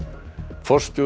forstjóri